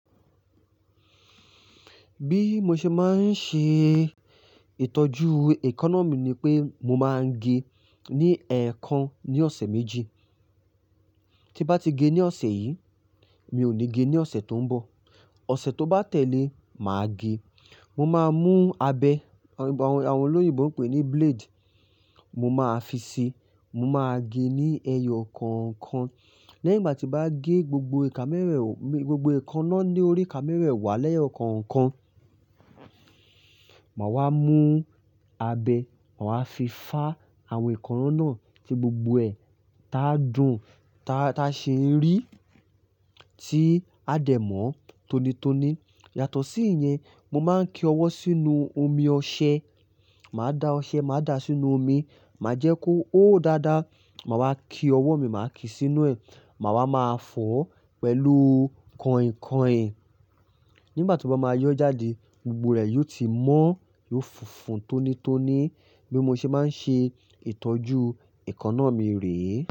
Bí mo ṣe máa ń ṣe ìtọ́jú èékánná mi ni pé mo máa ń ge ní ẹ̀ẹ̀kan ní ọ̀sẹ̀ méjì. Tí bá ti ge ní ọ̀sẹ̀ yìí, mi ò ní ge ní ọ̀sẹ̀ tó ń bọ̀. Ọ̀sẹ̀ tó bá tẹ́lé, màá ge. Mo máa mú abẹ, àwọn olóyìnbo ń pè ní blade. Mo máa fi sí, mo máa gé ní ẹyọ kọ̀ọ̀kan. Lẹ́yìn ìgbà tí bá gé gbogbo ẹ̀ẹ̀kanáà ní orí ìka mẹ́wẹ̀wà lẹ́yọ kọ̀ọ̀kan, mà wá mú abẹ, mà wá fi fá àwọn èékánná náà tí gbogbo ẹ̀ ta dùn, ta ṣe rì tí á dẹ̀ mọ́ tóní tóní. Yàtọ̀ sí ìyẹn, mo máa ń ki ọwọ́ sínú omi ọṣẹ. Mà á da ọṣẹ, mà á da sínú omi, mà á jẹ́ kó hó dáadáa. Mà wá ki ọwọ́ mi, mà ki sínú ẹ̀. Mà wá máa fọ̀ pẹ̀lú kọ̀ìnkọ̀ìn. Nígbà tí ó bá máa yọ́ jáde, gbogbo rẹ̀ yó ti mọ́, yóò funfun tónítóní. Bí mo ṣe máa ń ṣe ìtọ́jú èékánná mi rèé.